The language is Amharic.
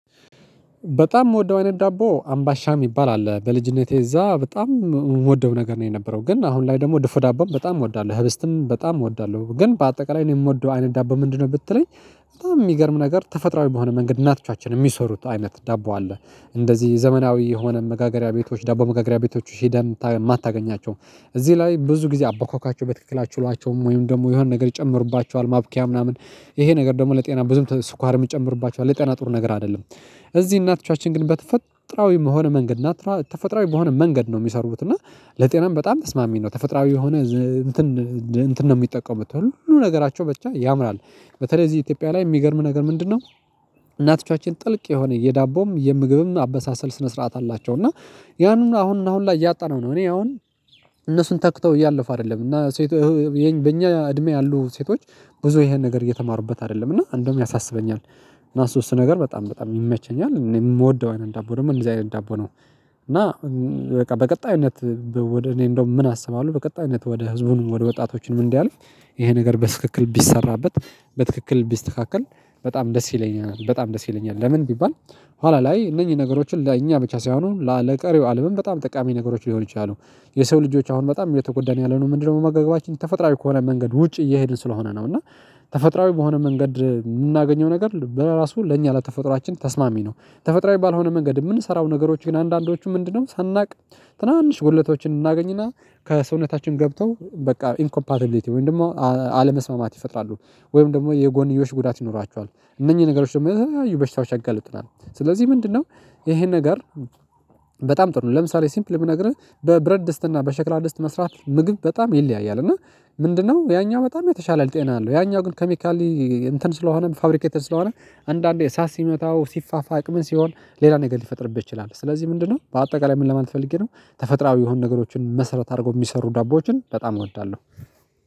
በጣም የምወደው አይነት ዳቦ አምባሻ የሚባል አለ በልጅነቴ እዛ በጣም የምወደው ነገር ነው የነበረው ግን አሁን ላይ ደግሞ ድፎ ዳቦም በጣም እወዳለሁ ህብስትም በጣም እወዳለሁ ግን በአጠቃላይ እኔ የምወደው አይነት ዳቦ ምንድነው ብትለኝ በጣም የሚገርም ነገር ተፈጥሯል በሆነ መንገድ እናቻችን የሚሰሩት አይነት ዳቦ አለ እንደዚህ ዘመናዊ የሆነ መጋገሪያ ቤቶች ዳቦ መጋገሪያ ቤቶች ሄደን የማታገኛቸው እዚህ ላይ ብዙ ጊዜ አበኳኳቸው በትክክላ ችሏቸውም ወይም ደግሞ የሆነ ነገር ይጨምርባቸዋል ማብኪያ ምናምን ይሄ ነገር ደግሞ ለጤና ብዙም ስኳር የሚጨምርባቸው ለጠና ጥሩ ነገር አይደለም። እዚህ እናትቻችን ግን በተፈጥሮአዊ በሆን መንገድ እና ናትራ ተፈጥሮአዊ በሆነ መንገድ ነው የሚሰሩት እና ለጤናም በጣም ተስማሚ ነው። ተፈጥሮአዊ የሆነ እንትን ነው የሚጠቀሙት ሁሉ ነገራቸው ብቻ ያምራል። በተለይ እዚህ ኢትዮጵያ ላይ የሚገርም ነገር ምንድነው? እናትቻችን ጥልቅ የሆነ የዳቦም የምግብም አበሳሰል ስነ ስርዓት አላቸው እና ያንን አሁን እና አሁን ላይ ያጣነው ነው። እኔ አሁን እነሱን ተክተው እያለፉ አይደለም እና ሴት ሴቶች በእኛ እድሜ ያሉ ሴቶች ብዙ ይሄን ነገር እየተማሩበት አይደለም እና እንደውም ያሳስበኛል። እና ሶስት ነገር በጣም በጣም ይመቸኛል እኔ የምወደው አይነት ዳቦ ደግሞ እንደዚህ አይነት ዳቦ ነው። እና በቃ በቀጣዩነት እኔ እንደው ምን አሰባለሁ በቀጣይነት ወደ ህዝቡን ወደ ወጣቶችን ምን እንዲያልፍ ይሄ ነገር በትክክል ቢሰራበት በትክክል ቢስተካከል በጣም ደስ ይለኛል በጣም ደስ ይለኛል። ለምን ቢባል? ኋላ ላይ እነኚህን ነገሮችን ለእኛ ብቻ ሳይሆኑ ለቀሪው አለምም በጣም ጠቃሚ ነገሮች ሊሆኑ ይችላሉ። የሰው ልጆች አሁን በጣም እየተጎዳን ያለነው ምንድነው? በመጋገባችን ተፈጥሮአዊ ከሆነ መንገድ ውጪ እየሄድን ስለሆነ ነው እና። ተፈጥራዊ በሆነ መንገድ የምናገኘው ነገር በራሱ ለእኛ ለተፈጥሮአችን ተስማሚ ነው። ተፈጥሮ የሚባል ሆነ መንገድ የምንሰራው ነገሮች ግን አንዳንዶቹ ምንድነው? ሳናውቅ ትናንሽ ጉድለቶችን እናገኝና ከሰውነታችን ገብተው በቃ ኢንኮፓቲቢሊቲ ወይም ደግሞ አለመስማማት ይፈጥራሉ። ወይም ደግሞ የጎንዮሽ ጉዳት ይኖራቸዋል እነኚህ ነገሮች ደግሞ ለተለያዩ በሽታዎች ያጋልጡናል። ስለዚህ ምንድነው? ይሄን ነገር በጣም ጥሩ ነው። ለምሳሌ ሲምፕል የሚነግርህ በብረት ድስትና በሸክላ ድስት መስራት ምግብ በጣም የለያየው እና ምንድነው? ያኛው በጣም የተሻለ ጤና አለው። ያኛው ግን ኬሚካሊ እንትን ስለሆነ ፋብሪኬትድ ስለሆነ አንዳንዴ ሳት ሲመታው ሲፋፋቅ ምን ሲሆን ሌላ ነገር ሊፈጥርብህ ይችላል። ስለዚህ ምንድነው? በአጠቃላይ ምን ለማለት ፈልጌ ነው። ተፈጥሮአዊ የሆኑ ነገሮችን መሰረት አድርጎ የሚሰሩ ዳቦዎችን በጣም እወዳለሁ።